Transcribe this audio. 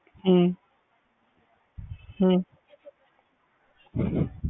ਹੂੰ